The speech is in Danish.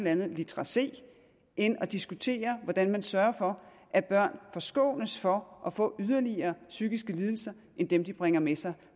andet litra c end at diskutere hvordan man sørger for at børn forskånes for at få yderligere psykiske lidelser end dem de bringer med sig